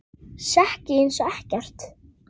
Sekk ég einsog ekkert.